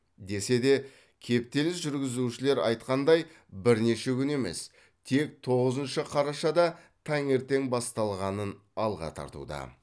десе де кептеліс жүргізушілер айтқандай бірнеше күн емес тек тоғызыншы қарашада таңертең басталғанын алға тартуда